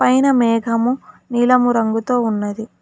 పైన మేఘము నీలము రంగుతో ఉన్నది.